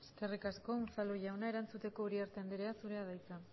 eskerrik asko unzalu jauna erantzuteko uriarte anderea zurea da hitza